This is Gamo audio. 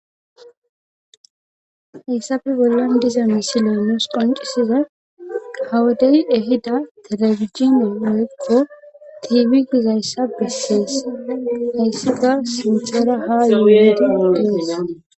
Hayssafe bollan diza misileomes qoncisiza hawodey ehida telefijini woykko tiiwi gizayssa bessees hayssika sinthera ha yuueti gotees.